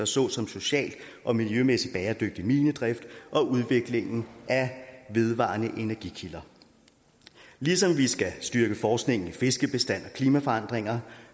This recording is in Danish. såsom social og miljømæssig bæredygtig minedrift og udviklingen af vedvarende energikilder ligesom vi skal styrke forskningen i fiskebestand og klimaforandringer